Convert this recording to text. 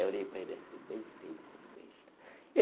Eu olhei para ele assim, bem feito, besta.